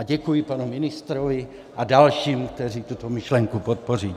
A děkuji panu ministrovi a dalším, kteří tuto myšlenku podpoří.